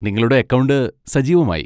നിങ്ങളുടെ അക്കൗണ്ട് സജീവമായി.